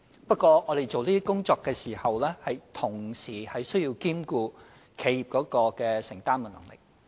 不過，我們做這些工作時，須同時兼顧企業的承擔能力。